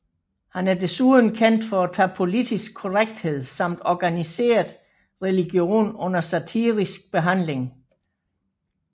Han er desuden kendt for at tage politisk korrekthed samt organiseret religion under satirisk behandling